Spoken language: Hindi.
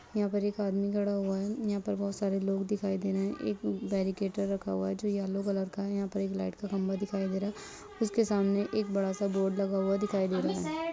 यहाँ पर एक आदमी खड़ा हुआ है यहाँ पर बहुत सारे लोग दिखाई दे रहे है एक बैरीकटेर रखा हुआ है जो येलो कलर का है यहाँ पर एक लाइट का खम्बा दिखाई दे रहा है उसके सामने एक बड़ा-सा बोर्ड लाग हुआ दिखाई दे रहा है।